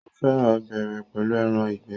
ó fẹ́ràn ọbẹ̀ rẹ̀ pẹ̀lú ẹran ìgbẹ́.